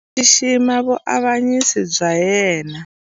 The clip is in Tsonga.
Ndzi xixima vuavanyisi bya yena.